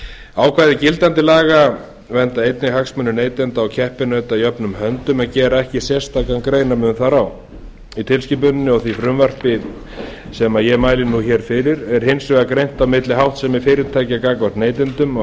ákvæði gildandi laga vernda einnig hagsmuni neytenda og keppinauta jöfnum höndum en gera ekki sérstakan greinarmun þar á í tilskipuninni og því frumvarpi sem ég mæli nú hér fyrir er hins vegar greint á milli háttsemi fyrirtækja gagnvart neytendum og